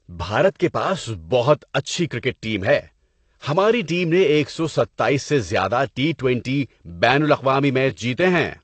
بھارت کے پاس بہت اچھی کرکٹ ٹیم ہے۔ ہماری ٹیم نے ایک سو ستائیس سے زیادہ ٹی ٹونٹی بین الاقوامی میچ جیتے ہیں۔